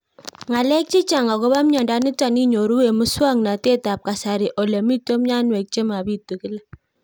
Ng'alek chechang' akopo miondo nitok inyoru eng' muswog'natet ab kasari ole mito mianwek che mapitu kila